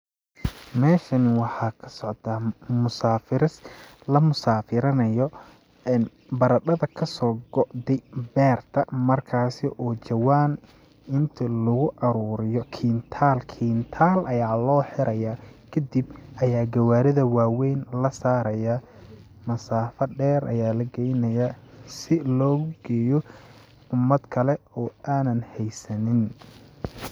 Meeshani waxaa ka socdaa musaafiris la musaafurinayo baradhada kasoo go'de beerta markaasi oo jawaan inti lagu aruuriyo kintaal kintaal ayaa loo xiraya, kadib ayaa gawaarida waweyn la sarayaa ,masaafa dheer ayaa la geynayaa si loogu geeyo umad kale oo aanan heysanin .